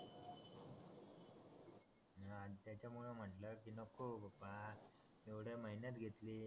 यांच्यामुळं म्हटलं कि नको बाप्पा एव्हडं मेहनत घेतली